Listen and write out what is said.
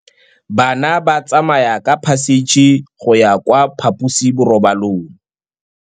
Bana ba tsamaya ka phašitshe go ya kwa phaposiborobalong.